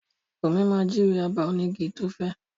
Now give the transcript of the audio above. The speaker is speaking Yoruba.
Bunmi máa júwe abà onígi tí ó fẹ́.